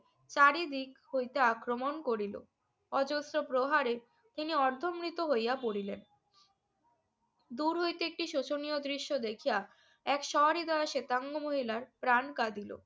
চারিদিক হইতে আক্রমণ করিল। অজস্র প্রহারে তিনি অর্ধমৃত হইয়া পড়িলেন। দূর হইতে একটি শোচনীয় দৃশ্য দেখিয়া এক স্বহৃদয় শেতাঙ্গ মহিলার প্রাণ কাঁদিল।